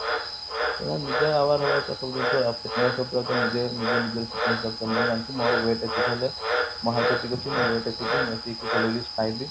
ତ ନିଜେ aware ହେବ କଥା ପ୍ରତ୍ୟକ ଜିନିଷ ନିଜ ନିଜର ମୋର weight ଏତିକି ହେବ ମୋ height ଏତିକି ଅଛି ମୋ weight ଏତିକି ମୁଁ ଏତିକି calories ଖାଇବି